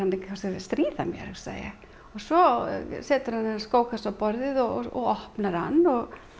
stríða mér hugsaði ég og svo setur hann þennan skókassa á borðið og opnar hann og